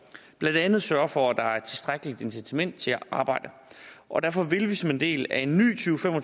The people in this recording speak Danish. blandt andet sørge for at der er et tilstrækkeligt incitament til at arbejde og derfor vil vi som en del af en ny